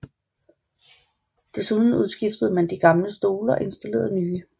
Desuden udskiftede man de gamle stole og installerede nye